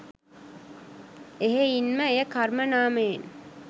එහෙයින්ම එය කර්ම නාමයෙන්